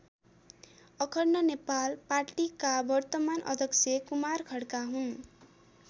अखण्ड नेपाल पार्टीका वर्तमान अध्यक्ष कुमार खड्का हुन्।